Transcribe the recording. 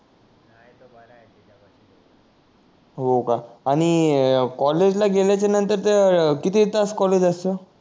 हो का आणि कॉलेज ला गेल्याच्या नंतर त्या किती तास कॉलेज असत